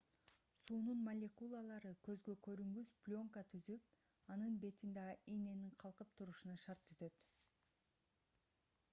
суунун молекулалары көзгө көрүнгүс пленка түзүп анын бетинде ийненин калкып турушуна шарт түзөт